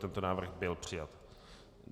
Tento návrh byl přijat.